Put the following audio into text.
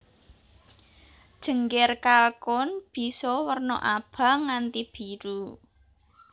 Jengger kalkun bisa werna abang nganti biru